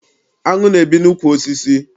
Áṅụ na- ebi n'ukwu osisi.